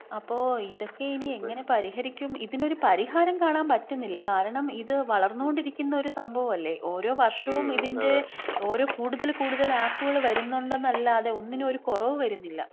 അപ്പോ ഇതൊക്കെ ഇനി എങ്ങനെ പരിഹരിക്കും? ഇതിനൊരു പരിഹാരം കാണാൻ പറ്റുന്നില്ല. കാരണം ഇത് വളർന്നോണ്ടിരിക്കുന്ന ഒരു സംഭവല്ലേ, ഓരോ വർഷവും ഇതിന്‍റെ ഓരോ കൂടുതല് കൂടുതല് ആപ്പുകൾ വരുന്നുണ്ടെന്നല്ലാതെ ഒന്നിനൊരു കുറവ് വരുന്നില്ല.